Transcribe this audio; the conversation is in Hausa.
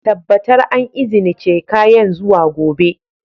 Tabbatar an izinice kayan zuwa gobe!